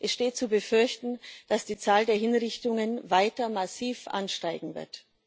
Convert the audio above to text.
Es steht zu befürchten, dass die Zahl der Hinrichtungen weiter massiv ansteigen wird.